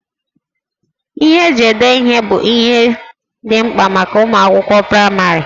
Ihe eji ede ihe bụ ihe dị mkpa maka ụmụ akwụkwọ praịmarị